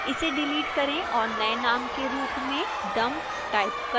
इसे डिलीट करें और नए name के रूप में dump type करें